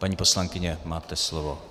Paní poslankyně, máte slovo.